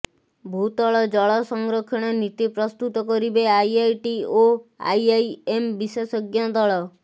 ଭୂତଳ ଜଳ ସଂରକ୍ଷଣ ନୀତି ପ୍ରସ୍ତୁତ କରିବେ ଆଇଆଇଟି ଓ ଆଇଆଇଏମ୍ ବିଶେଷଜ୍ଞ ଦଳ